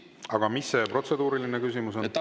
Aga mis see protseduuriline küsimus on?